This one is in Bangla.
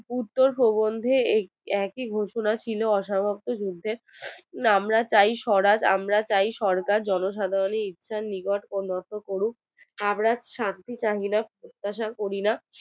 উত্তর প্রবন্ধে একই ঘোষণা ছিল অসমাপ্ত যুদ্ধের আমরা চাই স্বরাজ আমরা চাই সরকার জনসাধারণের ইচ্ছার নিবর্ত লক্ষ করুক আমরা শাস্তি চাহিনা প্রত্যাশা করি না